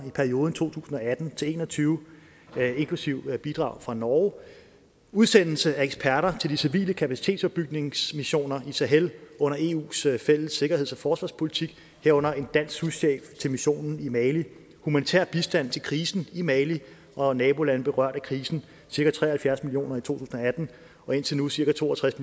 i perioden to tusind og atten til en og tyve inklusive bidrag fra norge udsendelse af eksperter til de civile kapacitetsopbygningsmissioner i sahel under eus fælles sikkerheds og forsvarspolitik herunder en dansk souschef til missionen i mali humanitær bistand til krisen i mali og nabolande berørt af krisen cirka tre og halvfjerds million kroner i to tusind og atten og indtil nu cirka to og tres